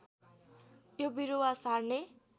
यो बिरुवा सार्ने